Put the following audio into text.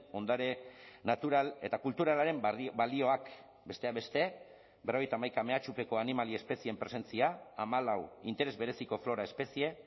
ondare natural eta kulturalaren balioak besteak beste berrogeita hamaika mehatxupeko animali espezieen presentzia hamalau interes bereziko flora espezie